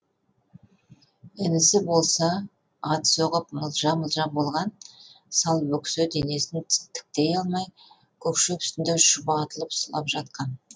інісі болса ат соғып мылжа мылжа болған сал бөксе денесін тіктей алмай көк шөп үстінде шұбатылып сұлап жатқан